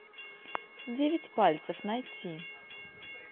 девять пальцев найти